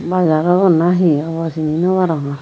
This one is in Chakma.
bazar obo naa he obo hi sini naw parongor.